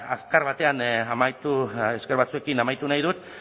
azkar batean amaitu esker batzuekin amaitu nahi dut